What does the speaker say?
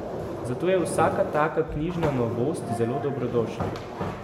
Zato je vsaka taka knjižna novost zelo dobrodošla.